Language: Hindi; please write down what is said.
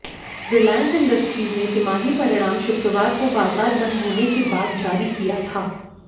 रिलायंस इंडस्ट्रीज ने तिमाही परिणाम शुक्रवार को बाजार बंद होने के बाद जारी किया था